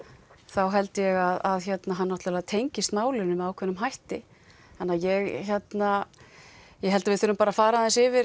þá held ég að hann tengist málinu með ákveðnum hætti þannig að ég hérna held að við þurfum bara að fara aðeins yfir